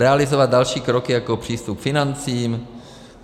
Realizovat další kroky jako přístup k financím.